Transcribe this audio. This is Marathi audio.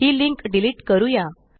ही लिंक डिलीट करूया